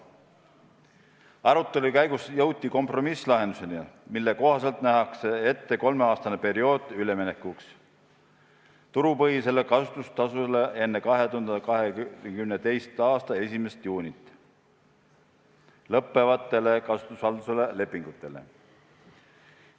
Arutelu käigus jõuti kompromisslahenduseni, mille kohaselt nähakse ette kolmeaastane periood üleminekuks turupõhisele kasutustasule enne 2022. aasta 1. juunit lõppevatele kasutusvalduse lepingutele.